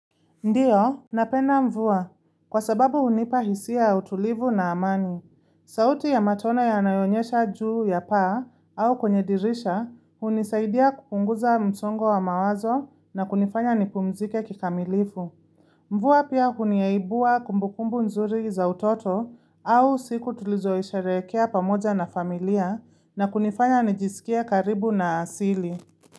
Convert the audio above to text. Ndiyo, napenda mvua. Kwa sababu hunipa hisia ya utulivu na amani. Sauti ya matone yanayoonyesha juu ya paa au kwenye dirisha hunisaidia kupunguza msongo wa mawazo na kunifanya nipumzike kikamilifu. Mvua pia huniaibua kumbukumbu nzuri za utoto au siku tulizoisherehekea pamoja na familia na kunifanya nijisikie karibu na asili.